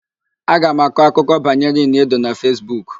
Aga m akọ akụkọ banyere Ini Edo na Fesbuk.